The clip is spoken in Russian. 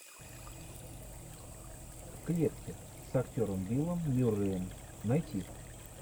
в клетке с актером биллом мюрреем найти